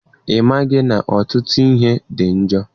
Ị maghị na ọtụtụ ihe dị njọ?